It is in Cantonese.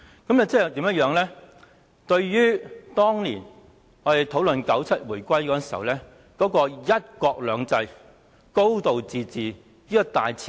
這做法完全違反及破壞1997年回歸時所討論的"一國兩制"、"高度自治"的大前提。